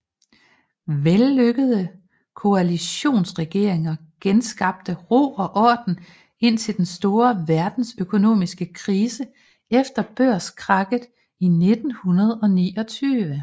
Vellykkede koalitionsregeringer genskabte ro og orden indtil den store verdensøkonomiske krise efter børskrakket i 1929